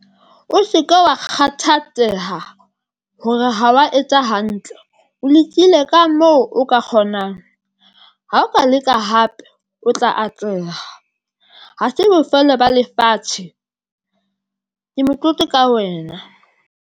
O se ke wa kgathatseha hore ha wa etsa hantle, o lekile ka mo o ka kgonang ha o ka leka hape o tla atleha ha se bofelo ba lefatshe. Ke motlotlo ka wena.